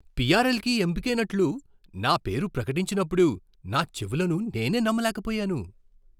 పిఆర్ఎల్కి ఎంపికైనట్లు నా పేరు ప్రకటించినప్పుడు నా చెవులను నేనే నమ్మలేకపోయాను!